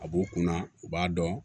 A b'u kunna u b'a dɔn